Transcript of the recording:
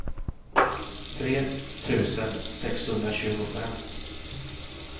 tre tusen sexhundratjugofem